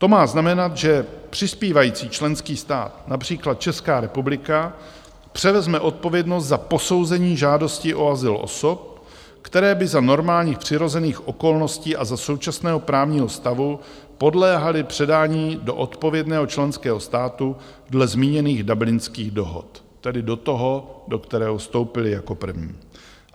To má znamenat, že přispívající členský stát, například Česká republika, převezme odpovědnost za posouzení žádosti o azyl osob, které by za normálních přirozených okolností a za současného právního stavu podléhaly předání do odpovědného členského státu dle zmíněných Dublinských dohod, tedy do toho, do kterého vstoupily jako první.